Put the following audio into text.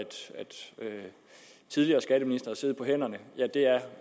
tidligere skatteministre har siddet på hænderne